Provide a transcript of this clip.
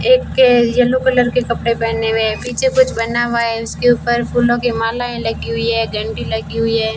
एक yellow colour के कपड़े पहने हुए है पीछे कुछ बना हुआ है उसके ऊपर फूलों की मालाएं लगी हुई है घंटी लगी हुई है।